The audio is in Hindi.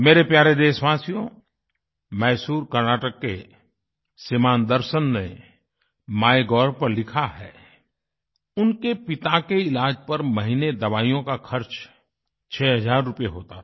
मेरे प्यारे देशवासियो मैसूर कर्नाटक के श्रीमान् दर्शन ने माइगोव पर लिखा है उनके पिता के ईलाज़ पर महीने में दवाइयों का खर्च 6 हज़ार रूपये होता था